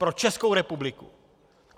Pro Českou republiku.